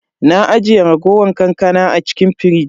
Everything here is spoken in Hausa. Na ajiye raguwar kankana a cikin firij.